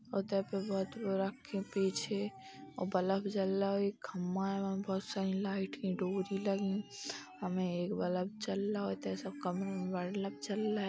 के पीछे बल्ब जल रहा है और एक खम्मा है | वहाँ बहोत सारी लाइट की डोरी लगी हमे एक बल्ब जलआ